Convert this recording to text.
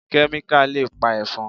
Kẹ́míkà le pa Ẹ̀fọn.